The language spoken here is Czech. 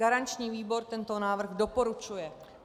Garanční výbor tento návrh doporučuje.